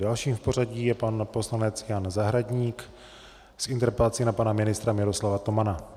Dalším v pořadí je pan poslanec Jan Zahradník s interpelací na pana ministra Miroslava Tomana.